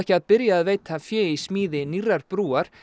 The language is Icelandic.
að byrja að veita fé í smíði nýrrar brúar